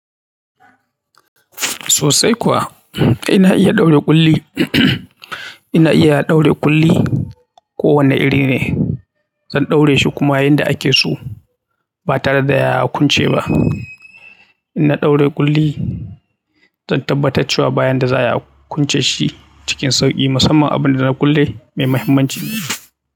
Sosai kuwa, kai na iya ɗaure ƙulli. Ina iya ɗaure ƙulli kowane iri ne. Zan ɗaure shi kuma yanda ake so ba tare da ya kunce ba. In na ɗaure ƙulli, zan tabbatar cewa bayan da za a kunce shi cikin sauƙi, musamman abin da na kulle mai mahimmanci ne.